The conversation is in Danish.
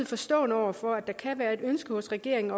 forstående over for at der kan være et ønske hos regeringen